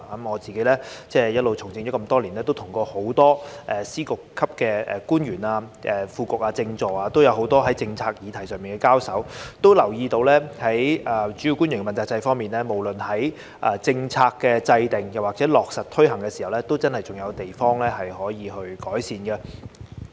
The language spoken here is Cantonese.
我已從政多年，曾與很多司局長級的官員、副局長和政治助理多次在政策議題上交手，留意到在主要官員問責制方面，無論在政策制訂或落實推行上，真的仍有可以改善的地方。